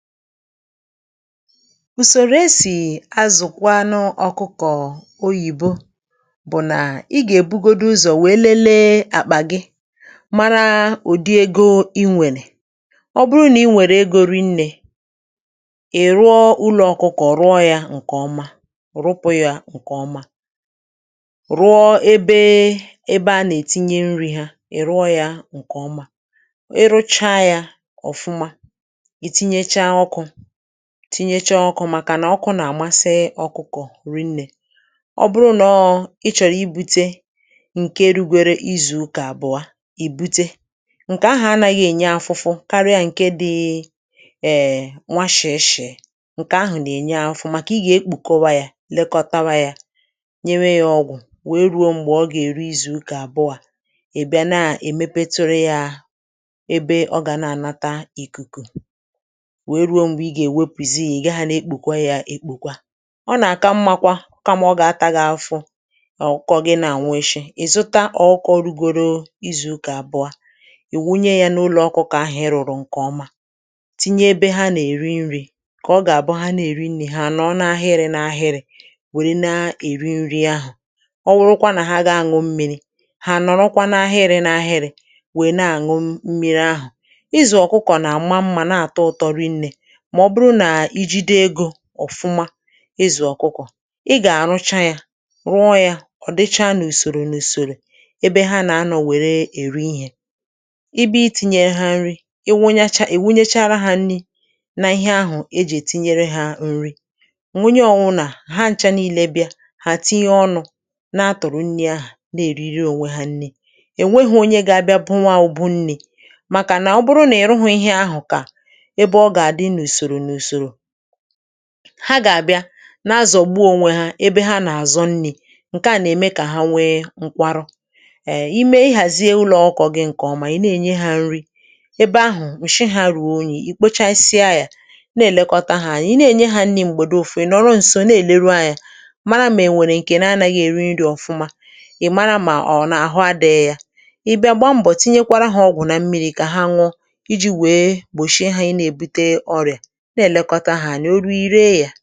ùsòrò esì azụ̀kwanụ ọ̀kụkọ̀ Oyìbo bụ̀ nà ị gà-èbugodị ụzọ̀ wèe lelee àkpà gị, màra ụ̀dị ego ị nwèlè. Ọ bụrụ nà ị nwèrè ego rịnnė, ị̀ rụọ ụlọ̀ ọ̀kụkọ̀, rụọ yȧ ǹkèọma, rụpụ̇ yȧ ǹkèọma, rụọ ebe ebe a nà-ètinye nri̇ hȧ, ị rụọ yȧ ǹkèọma, tinyechà ọkụ̇, màkànà ọkụ̇ nà-àmasị̀ ọ̀kụkọ̀ rịnnė (um).Ọ bụrụ̇ nọọ̇ ị chọ̀rọ̀ ibute ǹkè dugwere izù ụkà àbụọ̀, ìbute ǹkè ahụ̀ anàghị̇ ènye afụfụ karịa ǹkè dị̇ ee um, nwa shè eshè ǹkè ahụ̀ nà-ènye afụfụ, màkà ị gà-èkpùkọwa yȧ, lekọtawa yȧ, nye wee yȧ ọgwụ̀, wee ruo m̀gbè ọ gà-èri izù ụkà àbụọ̀ .À bịa nà-èmepetùrụ yȧ ebe ọ gà na-ànata ìkùkù, ihe ọ bụ ụlọ̀ ọ bụ̀ ọkụ̇ nà, ọ bụ̀ isi̇ nàlọ̀ n'ànwọ́ gị̇ um. Ọ̀fụma ịzụ̀ ọ̀kụkọ̀, ị gà-àrụchà yȧ, rụọ yȧ ọ̀ dịcha n’ùsòrò, n’ùsòrò ebe ha nà-anọ̀, nwèrè èri ihė. Ị bụ̇ iti̇nyė ha nri, ị wụnyechà, èwunyechȧrà ha nri̇, n’ihe ahụ̀ ejì ètinyere ha nri; nwunye ọwụnà ha ncha niile bịa, ha tinye ọnụ̇, na-atụ̀rụ̀ nri ahụ̀, na-èriri ònwe ha nri. Èwe hụ onye gà-abịa, bụwa ùbụ nne, màkà nà ọ bụrụ nà èrụhụ ihe ahụ̀, kà hà gà-àbịa nà-azọ̀gbu ònwe ha ebe hà nà-àzọ̀ nni̇. Ǹkè à nà-ème kà hà nwee nkwarọ, ime ihàzie ụlọ̀ ọ̀kọ̇ gị ǹkèọma, i nà-ènye hà nri ebe ahụ̀, ǹshị hà ruo onye, i kpocha isìye ahị̇à, na-èlèkọta hà, ànị̀ i nà-ènye hà nri m̀gbèdo. Ọ̀fụma ị nọ̀, ọ̀rọ ǹsọ, na-èleru ahị̇ȧ, màra m̀; ènwèrè ǹkè nà-anàghị eri nri̇ ọ̀fụma, ị̀ màra mà ọ̀ n’àhụ adị̇ị yȧ, ị bịa gba mbọ̀, tinyekwarà hà ọgwụ̀ na mmiri̇, kà hà nwọ iji̇ wèe gbòshie hà ị nà-ebute ọrịà. Ọ nà-echegò à gà-èkpebì òfu, ọ̀tụtụ ọsọ̇ nà-echegò à um. Màkà ihe dịka o nwèrè ike onye, onye ahụ̀ kà o nwèrè ike; onye ọsọ̇ o nwèrè ike, onye ahụ̀ kà o nwèrè ike onye ahụ̀, onye ahụ̀, onye ahụ̀, onye ahụ̀, onye ahụ̀.